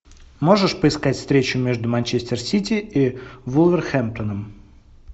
можешь поискать встречу между манчестер сити и вулверхэмптоном